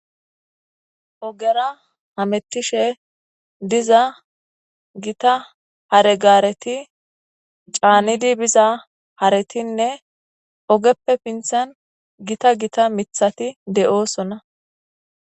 ogera hamettishe diza gita hare gaareti caanidi biza haretinne ogeppe pinthan gita gita mithati de7oosonna